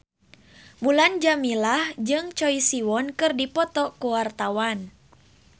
Mulan Jameela jeung Choi Siwon keur dipoto ku wartawan